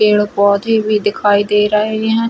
पेड़-पौधे भी दिखाई दे रहे हैं।